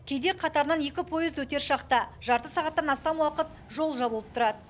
кейде қатарынан екі поезд өтер шақта жарты сағаттан астам уақыт жол жабылып тұрады